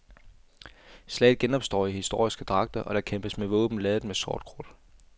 Slaget genopstår i historiske dragter, og der kæmpes med våben ladet med sortkrudt.